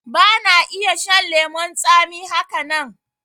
Ba na iya shan lemon tsami haka nan